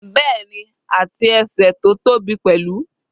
Bẹ́ẹ̀ni, àti ẹsẹ̀ tó tóbi pẹ̀lú.